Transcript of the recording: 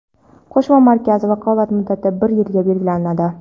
"Qo‘shma markaz" vakolat muddati bir yilga belgilanadi.